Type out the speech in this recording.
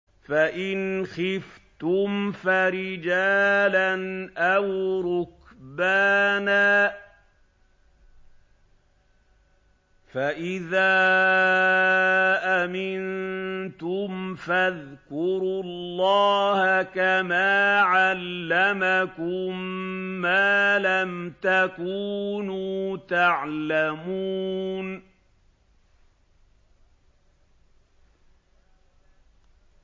فَإِنْ خِفْتُمْ فَرِجَالًا أَوْ رُكْبَانًا ۖ فَإِذَا أَمِنتُمْ فَاذْكُرُوا اللَّهَ كَمَا عَلَّمَكُم مَّا لَمْ تَكُونُوا تَعْلَمُونَ